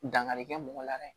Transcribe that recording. Dankarikɛ mɔgɔ la dɛ